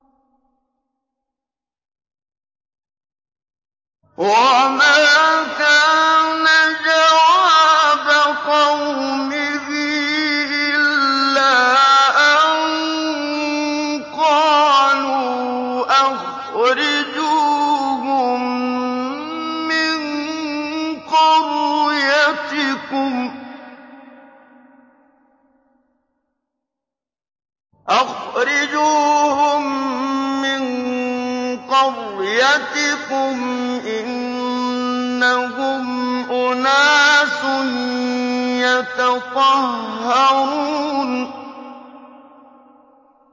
وَمَا كَانَ جَوَابَ قَوْمِهِ إِلَّا أَن قَالُوا أَخْرِجُوهُم مِّن قَرْيَتِكُمْ ۖ إِنَّهُمْ أُنَاسٌ يَتَطَهَّرُونَ